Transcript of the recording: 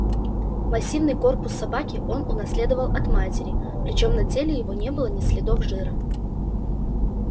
массивный корпус собаки он унаследовал от матери причём на теле его не было ни следов жира